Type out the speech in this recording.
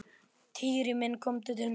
Týri minn komdu til mín.